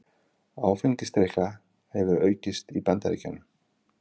Áfengisdrykkja hefur aukist í Bandaríkjunum